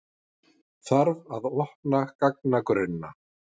Þarf að opna gagnagrunna